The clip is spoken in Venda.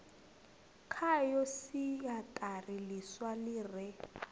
khayo siaṱari ḽiswa ḽi re